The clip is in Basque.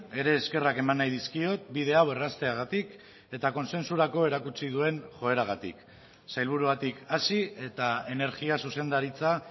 ere eskerrak eman nahi dizkiot bide hau errazteagatik eta kontsentsurako erakutsi duen joeragatik sailburuagatik hasi eta energia zuzendaritza